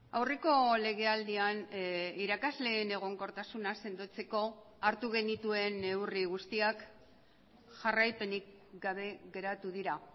aurreko legealdian irakasleen egonkortasuna sendotzeko hartu genituen neurri guztiak jarraipenik gabe geratu dira